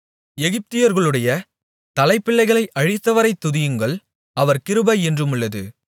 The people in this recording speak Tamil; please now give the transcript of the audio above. எகிப்தியர்களுடைய தலைப்பிள்ளைகளை அழித்தவரைத் துதியுங்கள் அவர் கிருபை என்றுமுள்ளது